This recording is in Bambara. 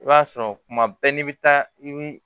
I b'a sɔrɔ kuma bɛɛ n'i bɛ taa ni